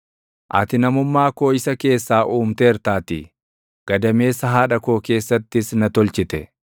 Ati namummaa koo isa keessaa uumteertaatii; gadameessa haadha koo keessattis na tolchite.